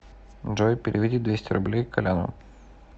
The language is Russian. джой переведи двести рублей коляну